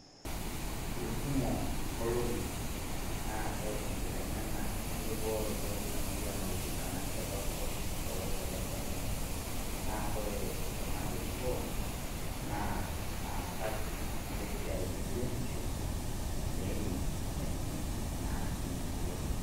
Kekumo inkolong'i naatae enkiteng'ena enkibooroto emoyian oltikana te kopkop tolosho le Kenya, naa kore oltung'ani orikoo, naa laasak lesiai le biotisho, le, nena sipitalini natii inamurua.